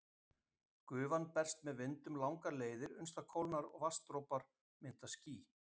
Gufan berst með vindum langar leiðir uns það kólnar og vatnsdropar mynda ský.